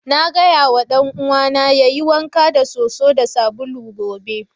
Na gaya ma dan'uwana yayi wanka da soso da sabulu gobe.